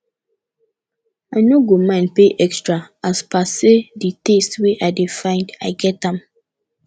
i no go mind pay extra as per say di taste wey i dey find i get am